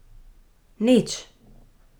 Nič!